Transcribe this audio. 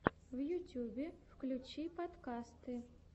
в ютьюбе включи подкасты